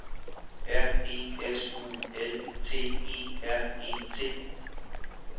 R E S U L T E R E T